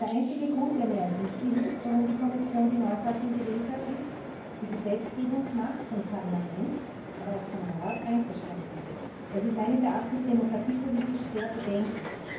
Der einzige Grund, der mir ersichtlich ist, warum die Kommission die Neufassung gewählt hat, ist der, die Gesetzgebungsmacht des Parlaments, aber auch des Rats einzuschränken. Das ist meines Erachtens demokratiepolitisch sehr bedenklich.